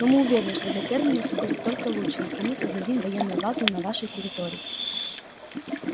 но мы уверены что для терминуса будет только лучше если мы создадим военную базу на вашей территории